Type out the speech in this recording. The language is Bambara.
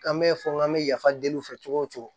An bɛ fɔ n k'an bɛ yafa deli u fɛ cogo o cogo